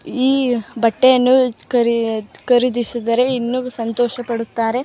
ಈ ಬಟ್ಟಯನು ಖರೀ ಖರೀದಿಸಿದರೆ ಇನ್ನು ಸಂತೋಷ ಪಡುತ್ತಾರೆ.